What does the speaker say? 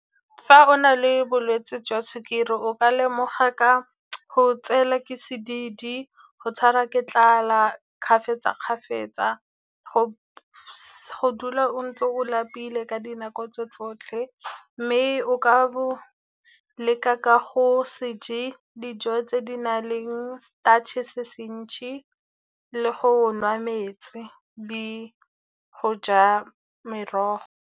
Fa o na le bolwetse jwa sukiri o ka lemoga ka go tsela ke sedidi, go tshwara ke tlala kgafetsa-kgafetsa, go dula o ntse o lapile ka dinako tse tsotlhe. Mme o ka bo leka ka go se je dijo tse di na leng starch-e, se se ntsi le go nwa metsi le go ja merogo.